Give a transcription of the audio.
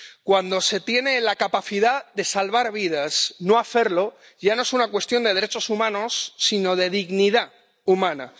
Cuando se tiene la capacidad de salvar vidas, no hacerlo ya no es una cuestión de derechos humanos, sino de dignidad humana.